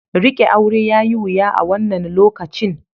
Riƙe aure yayi wuya a wannan lokacin.